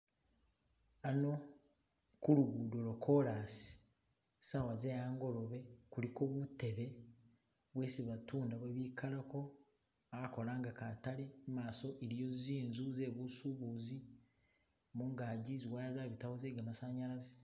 Hano kulugudo lo kolasi sawa zehangolobe kuliko butebe bwesi batunda bwebikalako bakolanga katale imaso iliyo zinzu ze busubuzi mungazi ziwaya zabitawo ze ga masanyalaze.